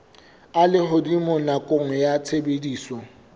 a lehodimo nakong ya tshebediso